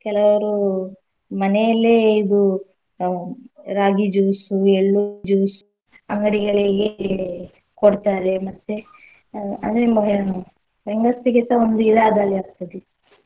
ಕೆಲವರು ಮನೆಯಲ್ಲೇ ಇದು ಆ ರಾಗಿ juice ಎಳ್ಳು juice ಅಂಗಡಿಗಳಿಗೆ ಕೊಡ್ತಾರೆ ಮತ್ತೆ ಆ ಹೆಂಗಸ್ಸ್ರಿಗೆಸ ಒಂದು ಇದ್ ಆದಾಯ ಆಗ್ತದೆ.